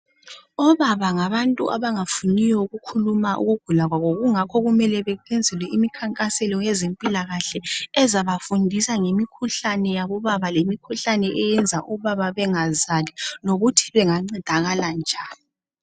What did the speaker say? Obaba ngabantu abangafuniyo ikukhuluma ukugula kwabo kungakho kumele benzelwe imikhankaselo yezimpilakahle ezabafundisa ngemikhuhlane yabobaba lemikhuhlane eyenza obaba bengazali lokuthi bengancedakala njani.